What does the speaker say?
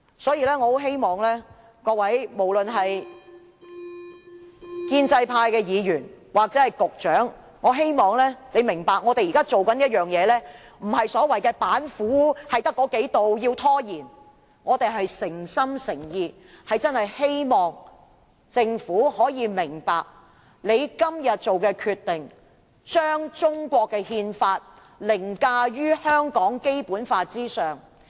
所以，無論是建制派議員或局長，我希望他們明白我們現在所做的事情，不是所謂的"只有幾道板斧"、目的是要拖延，我們是誠心誠意希望政府可以明白，政府今天做的這項決定，是將中國憲法凌駕於香港《基本法》之上。